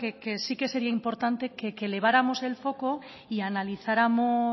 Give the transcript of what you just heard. que sí que sería importante que eleváramos el foco y analizáramos